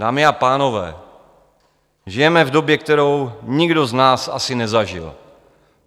Dámy a pánové, žijeme v době, kterou nikdo z nás asi nezažil.